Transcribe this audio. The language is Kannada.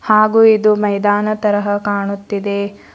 ಹಾಗು ಇದು ಮೈದಾನ ತರಹ ಕಾಣುತ್ತಿದೆ.